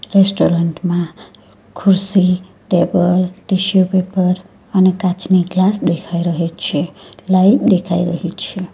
Restaurant માં ખુરશી table tissue paper અને કાચની ગ્લાસ દેખાઈ રહી છે લાઈટ દેખાઈ રહી છે.